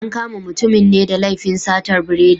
An kama mutumin ne da laifin satar biredi.